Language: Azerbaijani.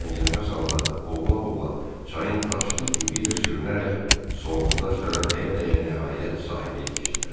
Təngənəfəs halda boğula-boğula çayın daşlı dibi ilə sürünərək sığalta daşlara dəyə-dəyə nəhayət sahilə yetişdilər.